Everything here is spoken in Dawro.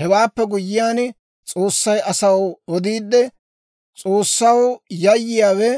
Hewaappe guyyiyaan, S'oossay asaw odiidde, ‹S'oossaw yayyiyaawe